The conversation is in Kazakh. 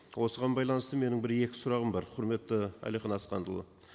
осыған байланысты менің бір екі сұрағым бар құрметті әлихан асханұлы